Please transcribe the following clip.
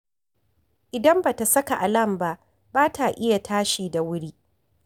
Idan ba ta saka alam ba, ba ta iya tashi da wuri